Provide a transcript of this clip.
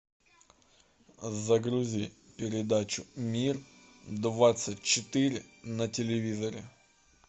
загрузи передачу мир двадцать четыре на телевизоре